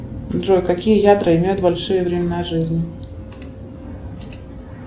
джой какие ядра имеют большие времена жизни